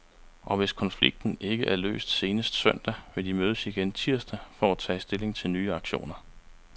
Og hvis konflikten ikke er løst senest søndag, vil de mødes igen tirsdag for at tage stilling til nye aktioner.